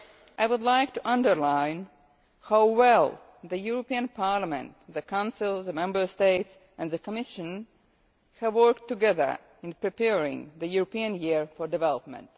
I would like to underline how well the European Parliament, the Council, the Member States and the Commission have worked together in preparing the European Year for Development.